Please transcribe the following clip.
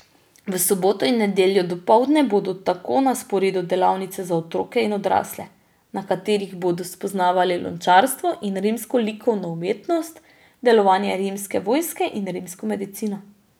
V soboto in nedeljo dopoldne bodo tako na sporedu delavnice za otroke in odrasle, na katerih bodo spoznavali lončarstvo in rimsko likovno umetnost, delovanje rimske vojske in rimsko medicino.